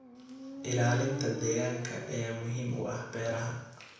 Ilaalinta deegaanka ayaa muhiim u ah beeraha.